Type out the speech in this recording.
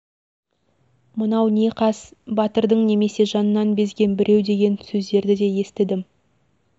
мынау не қас батырдың немесе жанынан безеген біреу деген сөздерді де естідім